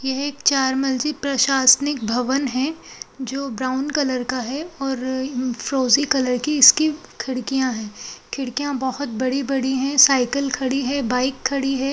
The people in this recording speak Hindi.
यह एक चार मंजिल प्रशासनिक भवन है जो ब्राउन कलर का है और फ्रोजी कलर की इसकी खिड़कियां हैं| खिड़कियां बहोत बड़ी बड़ी हैं| साइकिल खड़ी है बाइक खड़ी है।